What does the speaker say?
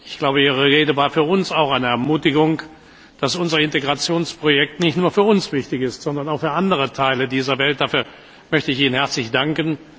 Ich glaube, Ihre Rede war auch für uns eine Ermutigung, dass unser Integrationsprojekt nicht nur für uns wichtig ist, sondern auch für andere Teile der Welt. Dafür möchte ich Ihnen herzlich danken.